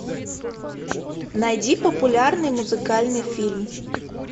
найди популярный музыкальный фильм